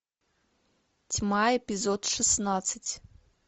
тьма эпизод шестнадцать